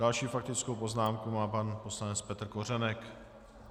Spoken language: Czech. Další faktickou poznámku má pan poslanec Petr Kořenek.